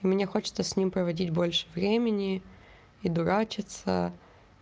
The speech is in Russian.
мне хочется с ним проводить больше времени и дурачиться